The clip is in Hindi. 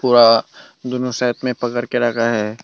पूरा दोनों साइड में पकड़ के रखा है।